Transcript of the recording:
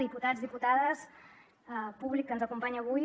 diputats diputades públic que ens acompanya avui